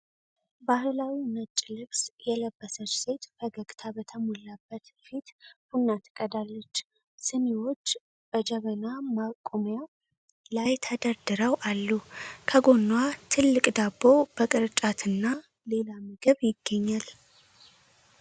ባህላዊ ነጭ ልብስ የለበሰች ሴት ፈገግታ በተሞላበት ፊት ቡና ትቀዳለች። ሲኒዎች በጀበና ማቆሚያ ላይ ተደርድረው አሉ፣ ከጎንዋ ትልቅ ዳቦ በቅርጫትና ሌላ ምግብ ይገኛል።